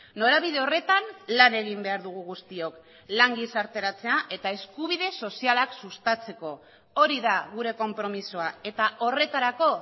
norabide horretan lan egin behar dugu guztiok lan gizarteratzea eta eskubide sozialak sustatzeko hori da gure konpromisoa eta horretarako